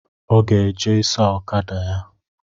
Ọ ga-eje ịsa okada ya